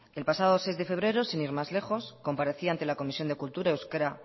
el pasado seis de febrero sin ir más lejos comparecía ante la comisión de cultura euskera